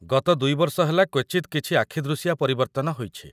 ଗତ ୨ ବର୍ଷ ହେଲା କ୍ୱଚିତ୍‌ କିଛି ଆଖିଦୃଶିଆ ପରିବର୍ତ୍ତନ ହୋଇଛି ।